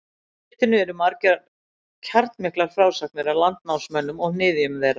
Í ritinu eru margar kjarnmiklar frásagnir af landnámsmönnunum og niðjum þeirra.